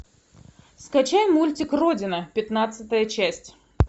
скачай мультик родина пятнадцатая часть